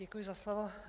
Děkuji za slovo.